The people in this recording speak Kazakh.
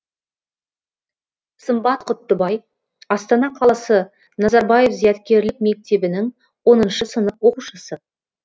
сымбат құттыбай астана қаласы назарбаев зияткерлік мектебінің оныншы сынып оқушысы